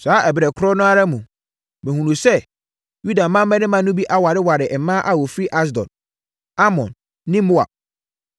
Saa ɛberɛ korɔ no ara mu, mehunuu sɛ Yuda mmarima no bi awareware mmaa a wɔfiri Asdod, Amon ne Moab.